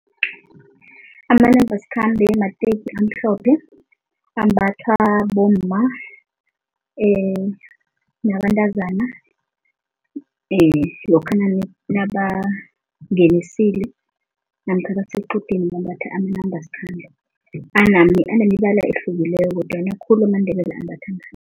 Amanambasikhambe mateki amhlophe ambathwa bomma nabantazana lokha nabangenisile namkha basequdeni bambatha amanambasikhambe. Anemibala ehlukileko kodwana khulu amaNdebele ambatha